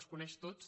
els coneix tots